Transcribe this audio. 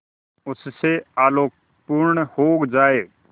उससे आलोकपूर्ण हो जाए